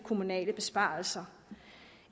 kommunale besparelser